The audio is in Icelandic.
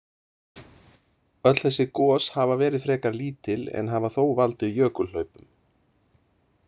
Öll þessi gos hafa verið frekar lítil en hafa þó valdið jökulhlaupum.